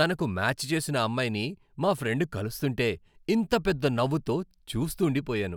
తనకు మ్యాచ్ చేసిన అమ్మాయిని మా ఫ్రెండ్ కలుస్తుంటే, ఇంత పెద్ద నవ్వుతో చూస్తూండి పోయాను.